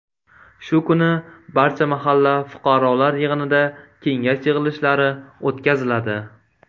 Shu kuni barcha mahalla fuqarolar yig‘inida kengash yig‘ilishlari o‘tkaziladi.